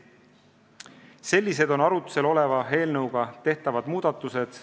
Sellised on arutlusel oleva eelnõuga tehtavad muudatused.